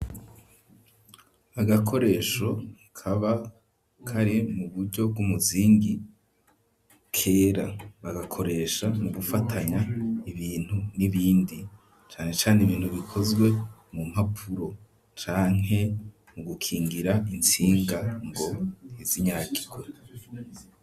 Agakoresho kaba kari mu buryo bw'umuzingi kera bagakoresha mu gufatanya ibintu n'ibindi cane cane ibintu bikozwe mu mpapuro canke mu gukingira intsinga ngo ntizinyagirwe.